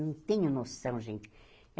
Não tenho noção, gente.